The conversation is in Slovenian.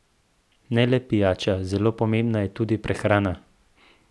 Ne le pijača, zelo pomembna je tudi prehrana.